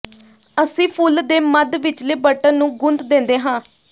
ਅਸੀਂ ਫੁੱਲ ਦੇ ਮੱਧ ਵਿਚਲੇ ਬਟਨ ਨੂੰ ਗੂੰਦ ਦਿੰਦੇ ਹਾਂ